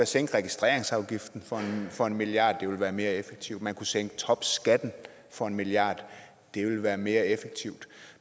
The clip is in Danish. sænke registreringsafgiften for en milliard det ville være mere effektivt man kunne sænke topskatten for en milliard det ville være mere effektivt